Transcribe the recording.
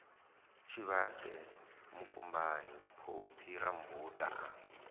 tshivhase mukumbani phophi rammbuda a